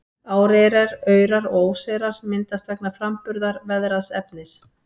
Áreyrar, aurar og óseyrar myndast vegna framburðar veðraðs efnis.